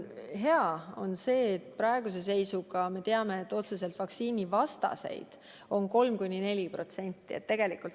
Hea on see, et praeguse seisuga me teame, et otseselt vaktsiinivastaseid on 3–4%.